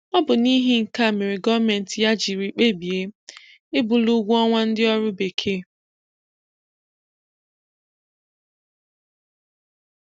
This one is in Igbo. ọ bụ n'ihi nke a mere gọọmenti ya jiri kpebie ibuli ụgwọ ọnwa ndị ọrụ Bekee.